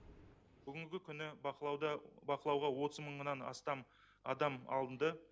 бүгінгі күні бақылауда бақылауға отыз мыңнан астам адам алынды